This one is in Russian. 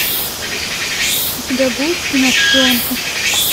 у тебя будет кино шпионка